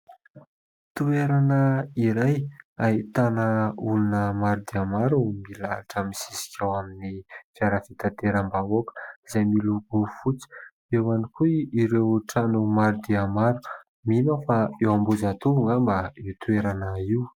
Toerana iray ahitana olona maro dia maro milahatra misisika ao amin'ny fiara fitateram-bahoaka izay miloko fotsy, eo ihany koa ireo trano maro dia maro, mino aho fa eo Ambohijatovo angamba io toerana io.